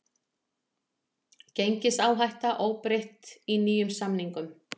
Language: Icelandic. Gengisáhætta óbreytt í nýjum samningum